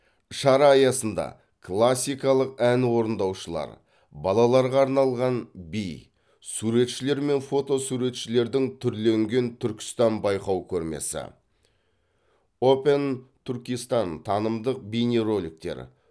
шара аясында классикалық ән орындаушылар балаларға арналған би суретшілер мен фото суретшілердің түрленген түркістан байқау көрмесі опен түркистан танымдық бейнероликтер